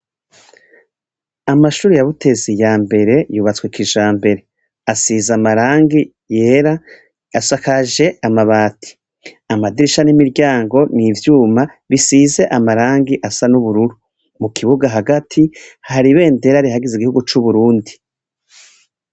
Amashuri ya Butezi ya mbere yubatswe kijambere asize amarangi yera asakaje amabati, amadirisha n'imiryango niivyuma bisize amarangi asa n'ubururu mu kibuga hagati hari bendera rihagize igihugu cu Burundi.